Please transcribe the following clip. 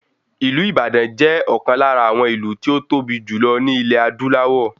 Ìlú Ìbàdàn jẹ́ ọ̀kan lára àwọn ìlú tí ó tóbi jù lọ ní ilẹ̀ adúláwọ̀